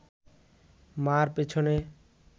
মা’র পেছনে